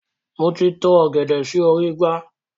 Moti to ọ̀gẹ̀dẹ̀ sì orí igbá.